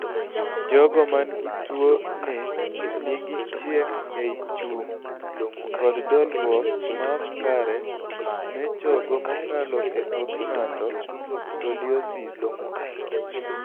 jogo man gintuo ni nigi chiek ei chung' kod dolruok maok kare me chogo mokalo e tok ng'ato (scoliosis)